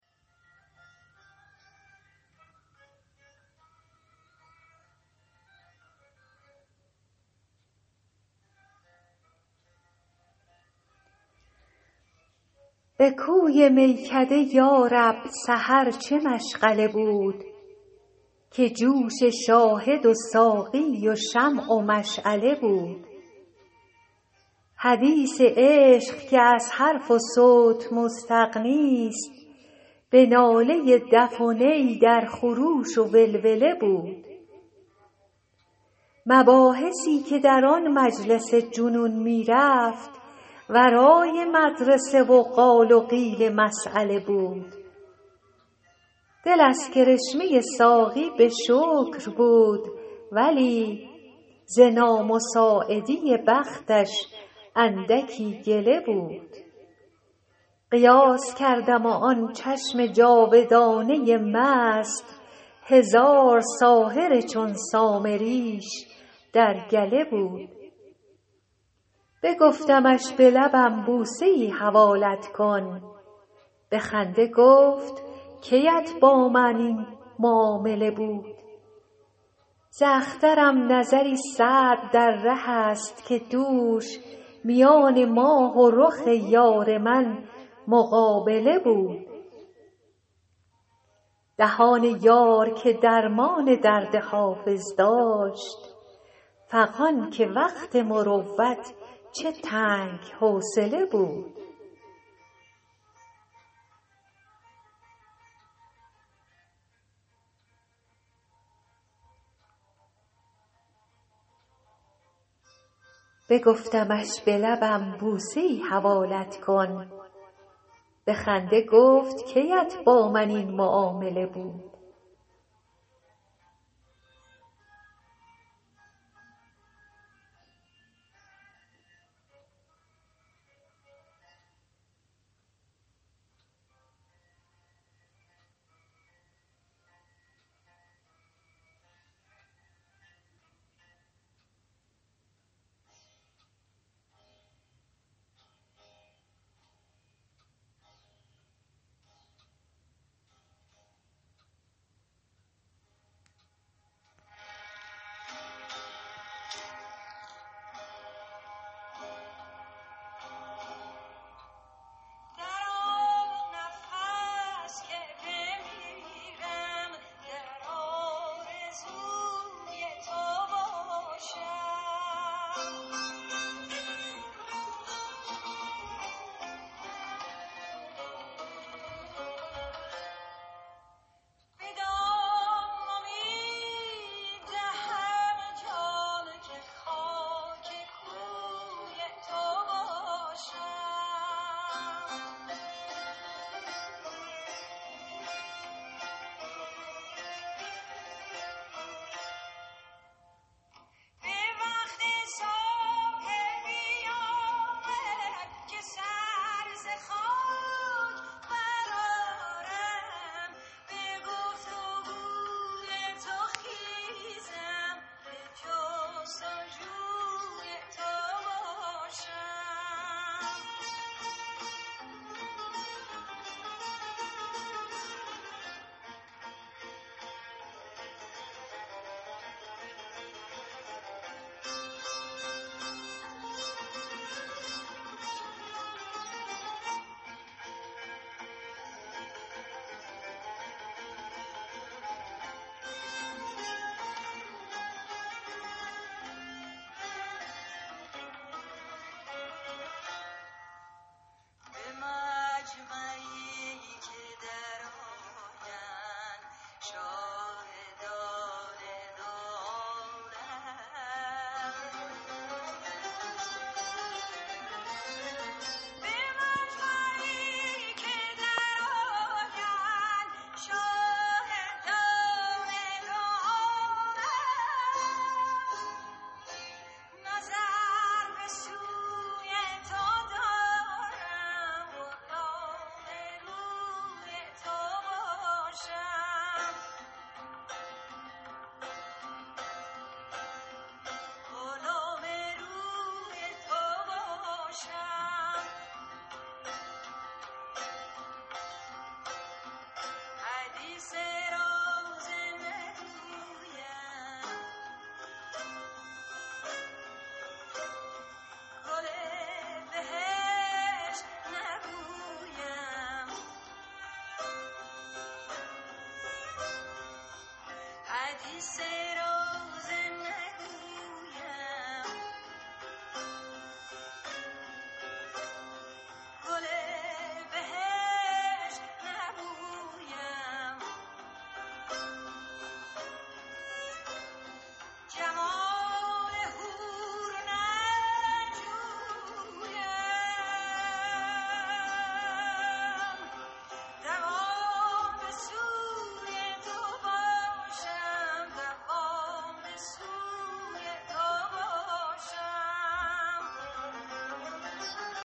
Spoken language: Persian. به کوی میکده یا رب سحر چه مشغله بود که جوش شاهد و ساقی و شمع و مشعله بود حدیث عشق که از حرف و صوت مستغنیست به ناله دف و نی در خروش و ولوله بود مباحثی که در آن مجلس جنون می رفت ورای مدرسه و قال و قیل مسأله بود دل از کرشمه ساقی به شکر بود ولی ز نامساعدی بختش اندکی گله بود قیاس کردم و آن چشم جادوانه مست هزار ساحر چون سامریش در گله بود بگفتمش به لبم بوسه ای حوالت کن به خنده گفت کی ات با من این معامله بود ز اخترم نظری سعد در ره است که دوش میان ماه و رخ یار من مقابله بود دهان یار که درمان درد حافظ داشت فغان که وقت مروت چه تنگ حوصله بود